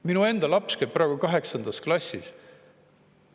Minu enda laps käib praegu kaheksandas klassis.